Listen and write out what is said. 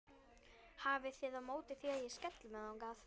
Hafið þið á móti því að ég skelli mér þangað?